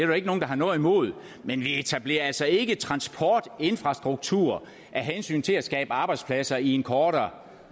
jo ikke nogen der har noget imod men vi etablerer altså ikke transportinfrastruktur af hensyn til at skabe arbejdspladser i en kortvarig